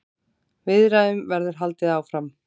Viðræðum verður haldið áfram.